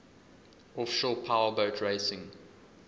offshore powerboat racing